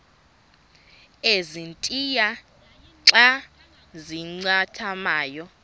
ezintia xa zincathamayo